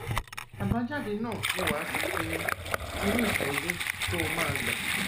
àbájáde náà ni wàá fi pinnu irú ìtọjú tó o máa gbà